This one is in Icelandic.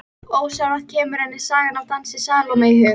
Ósjálfrátt kemur henni sagan af dansi Salóme í hug.